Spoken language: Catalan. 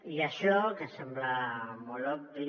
i això que sembla molt obvi